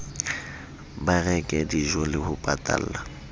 ba reke dijole ho patalla